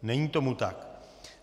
Není tomu tak.